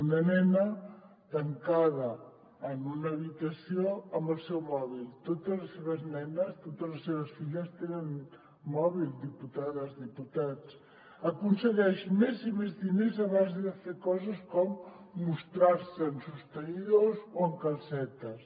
una nena tancada en una habitació amb el seu mòbil totes les seves nenes totes les seves filles tenen mòbil diputades i diputats aconsegueix més i més diners a base de fer coses com mostrar se en sostenidors o en calcetes